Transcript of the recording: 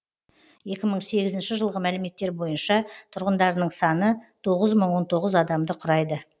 екі мың сегізінші жылғы мәліметтер бойынша тұрғындарының саны тоғыз мың он тоғыз адамды құрайды